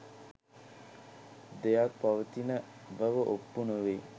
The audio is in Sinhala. දෙයක් පවතින බව ඔප්පු නොවේ.